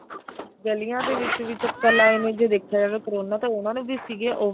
ਗਲੀਆਂ ਦੇ ਵਿੱਚ ਵੀ ਚੱਕਰ ਲਾਏ ਨੇ ਜੇ ਦੇਖਿਆ ਜਾਵੇ ਕਰੋਨਾ ਤਾਂ ਉਹਨਾ ਨੂੰ ਵੀ ਸੀਗੇ